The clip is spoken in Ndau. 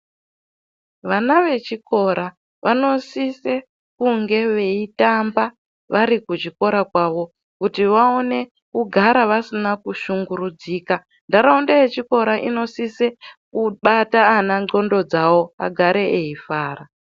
Vana vechikora vanosise kunge veitamba vari kuchikora kwavo kuti vaone kugara vasina kushingurudzika, ntaraunda yechikora inosise kubata ana ndxondo dzawo agare eifara.